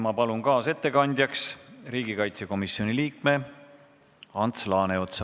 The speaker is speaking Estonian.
Ma palun kaasettekandjaks riigikaitsekomisjoni liikme Ants Laaneotsa.